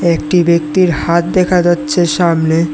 একটি ব্যাক্তির হাত দেখা যাচ্ছে সামনে।